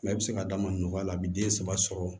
Mɛ a bɛ se ka d'a ma nɔgɔya la a bɛ den saba sɔrɔ